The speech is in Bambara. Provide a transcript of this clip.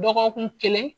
Dɔgɔkun kelen